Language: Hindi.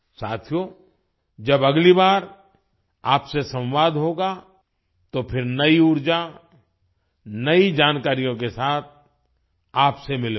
साथियो जब अगली बार आपसे संवाद होगा तो फिर नई ऊर्जा नई जानकारियों के साथ आपसे मिलूंगा